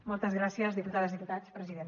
moltes gràcies diputades diputats president